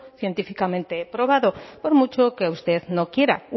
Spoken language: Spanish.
científicamente probado por mucho que usted no quiera